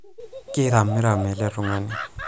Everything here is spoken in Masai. kiramiram ele tungani